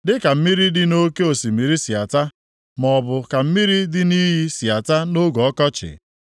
Dịka mmiri dị nʼoke osimiri si ata, maọbụ ka mmiri dị nʼiyi si ata nʼoge ọkọchị,